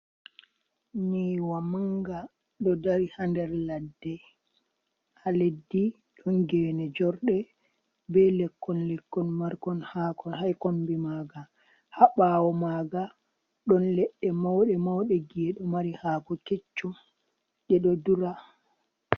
Nyiwa manga ɗo dari haa nder ladde, haa leddi ɗon gene jorɗe be lekkon-lekkon markon hako haikombi maga, haa ɓawo maga ɗon ledde mauɗe-mauɗe gi’e ɗo mari hako keccum ɗe ɗo dura.